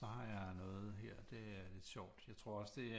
Så har jeg noget her det er lidt sjovt jeg tror også at det